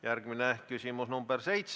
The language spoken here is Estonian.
Järgmine küsimus, nr 7.